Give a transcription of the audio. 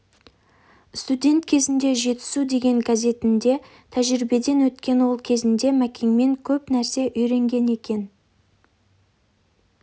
студент кезінде жетісу деген газетінде тәжірибеден өткен ол кезінде мәкеңнен көп нәрсе үйренген екен